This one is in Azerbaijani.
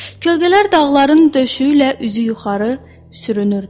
Kölgələr dağların döşüyü ilə üzü yuxarı sürünürdü.